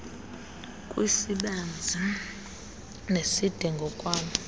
kwisibanzi neside ngokwaloo